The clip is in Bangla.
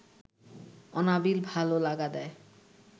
অনাবিল ভালো লাগা দেয়